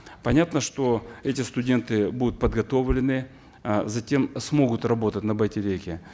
понятно что эти студенты будут подготовленные э затем смогут работать на байтереке